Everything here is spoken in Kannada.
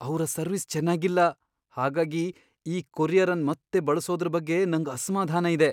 ಅವ್ರ ಸರ್ವಿಸ್ ಚೆನ್ನಾಗಿಲ್ಲ ಹಾಗಾಗಿ ಈ ಕೊರಿಯರ್ ಅನ್ ಮತ್ತೆ ಬಳಸೋದ್ರ ಬಗ್ಗೆ ನಂಗ್ ಅಸ್ಮಾಧಾನ ಇದೆ.